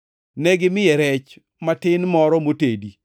Negimiye rech matin moro motedi